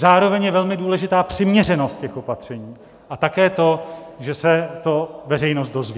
Zároveň je velmi důležitá přiměřenost těch opatření a také to, že se to veřejnost dozví.